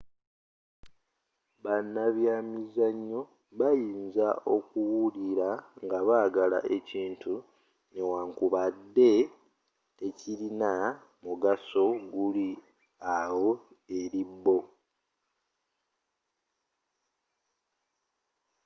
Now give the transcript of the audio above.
banabyamizzanyo bayinza okuwulira nga bagala ekintu newankubande tekilina mugaso guli awo eri bo